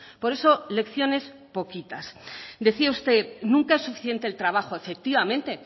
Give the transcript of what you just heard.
por eso lecciones poquitas decía usted nunca es suficiente el trabajo efectivamente